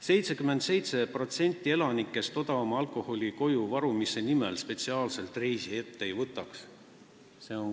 77% elanikest odavama alkoholi koju varumise nimel spetsiaalselt reisi ette ei võtaks.